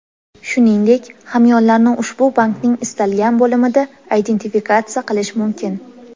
Shuningdek, hamyonlarni ushbu bankning istalgan bo‘limida identifikatsiya qilish mumkin.